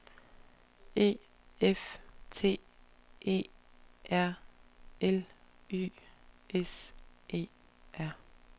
E F T E R L Y S E R